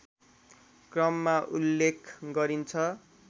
क्रममा उल्लेख गरिन्छ